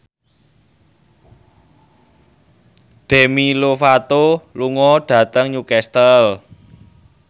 Demi Lovato lunga dhateng Newcastle